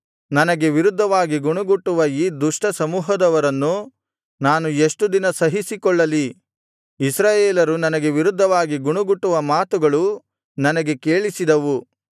ನನಗೆ ವಿರುದ್ಧವಾಗಿ ಗುಣುಗುಟ್ಟುವ ಈ ದುಷ್ಟ ಸಮೂಹದವರನ್ನು ನಾನು ಎಷ್ಟು ದಿನ ಸಹಿಸಿಕೊಳ್ಳಲಿ ಇಸ್ರಾಯೇಲರು ನನಗೆ ವಿರುದ್ಧವಾಗಿ ಗುಣುಗುಟ್ಟುವ ಮಾತುಗಳು ನನಗೆ ಕೇಳಿಸಿದವು